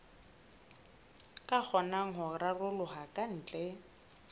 ka kgonang ho raroloha kantle